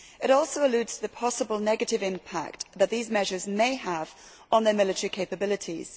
It also alludes to the possible negative impact that these measures may have on their military capabilities.